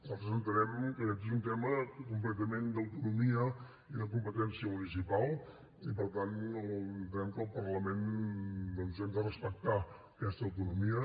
nosaltres entenem que aquest és un tema completament d’autonomia i de competència municipal i per tant entenem que al parlament doncs hem de respectar aquesta autonomia